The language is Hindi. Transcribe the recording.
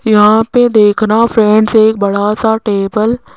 यहां पे देखना फ्रेंड्स एक बड़ा सा टेबल --